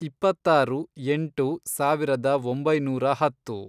ಇಪ್ಪತ್ತಾರು ಎಂಟು ಸಾವಿರದ ಒಂಬೈನೂರ ಹತ್ತು